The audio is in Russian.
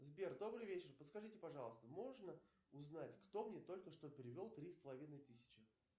сбер добрый вечер подскажите пожалуйста можно узнать кто мне только что перевел три с половиной тысячи